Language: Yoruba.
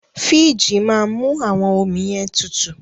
Fííjì máa mú àwọn ọmi yẹn tutù.